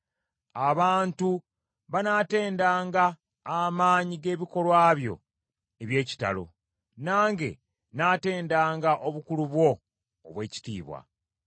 Abantu banaatendanga amaanyi g’ebikolwa byo eby’ekitalo, nange nnaatendanga obukulu bwo obw’ekitiibwa.